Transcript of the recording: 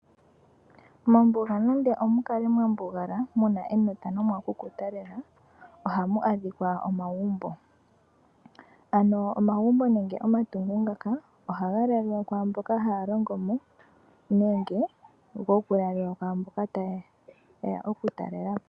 Mombuga nenge omukale mwambugala muna enota nomwakukuta lela ohamu eshika omagumbo. Ano omagumbo nege omatungo ngaka ohaga lalwa kwaamboka haya longomo nenge gokulalilwa kwaamboka tayeya okutalelapo.